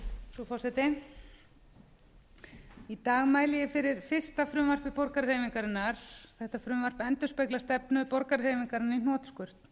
frú forseti í dag mæli ég fyrir fyrsta frumvarpi borgarahreyfingarinnar þetta frumvarp endurspeglar stefnu borgarahreyfingarinnar í hnotskurn